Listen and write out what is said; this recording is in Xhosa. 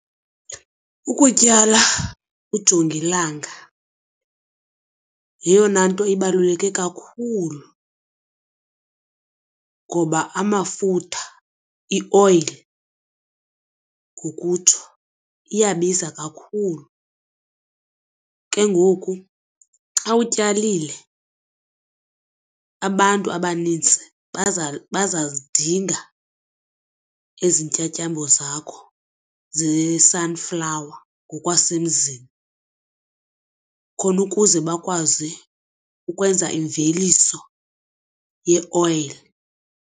Ukutyala ujongilanga yeyona nto ibaluleke kakhulu ngoba amafutha ioyile ngokutsho iyabiza kakhulu. Ke ngoku xa utyalile abantu abanintsi baza zidinga ezi ntyatyambo zakho ze-sunflower ngokwasemzini khona ukuze bakwazi ukwenza iimveliso yeoyile.